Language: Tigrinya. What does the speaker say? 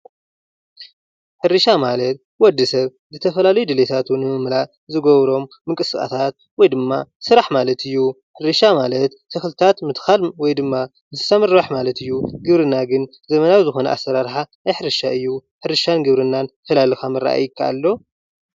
ሕርሻ ማለት ወድሰብ ዝተፈላለዩ ድለይታቱ ንምምላእ ዝገብሮ ምንቅስቃሳት ወይ ድማ ስራሕ ማለት እዩ። ሕርሻ ማለት ተክልታት ምትካል ወይ ድማ ምስ እንስሳ ምርባሕ ማለት እዩ። ግብርና ግን ዘመናዊ ኣሰራርሓ ናይ ሕርሻ እዩ። ሕርሻን ግብርናን ፈላሊካ ምርኣይ ይካኣይ ዶ?